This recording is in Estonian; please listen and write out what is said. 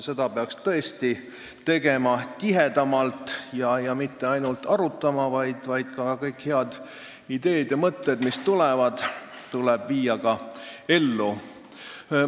Seda peaks tõesti tegema tihedamalt ja mitte ainult arutama, vaid kõik head ideed ja mõtted tuleb ka ellu viia.